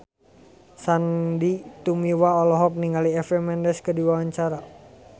Sandy Tumiwa olohok ningali Eva Mendes keur diwawancara